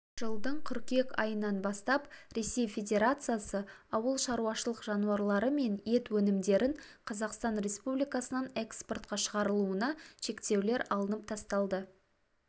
жылдың қыркүйек айынан бастап ресей федерациясы ауыл шаруашылық жануарлары мен ет өнімдерін қазақстан республикасынан эспортқа шығарылуына шектеулер алынып тасталды